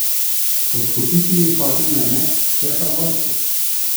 Podkupiti je hotel mene, šefa vojske!